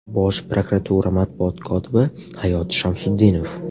Bosh prokuratura matbuot kotibi Hayot Shamsutdinov.